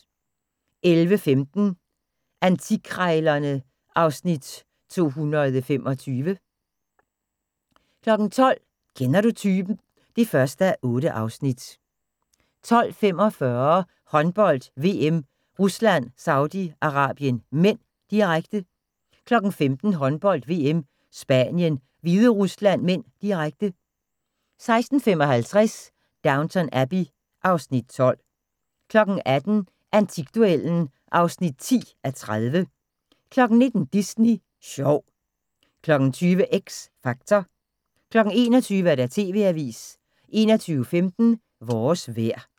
11:15: Antikkrejlerne (Afs. 225) 12:00: Kender du typen? (1:8) 12:45: Håndbold: VM - Rusland-Saudi Arabien (m), direkte 15:00: Håndbold: VM - Spanien-Hviderusland (m), direkte 16:55: Downton Abbey (Afs. 12) 18:00: Antikduellen (10:30) 19:00: Disney Sjov 20:00: X Factor 21:00: TV-avisen 21:15: Vores vejr